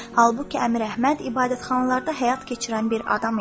Halbuki Əmir Əhməd ibadətxanalarda həyat keçirən bir adam idi.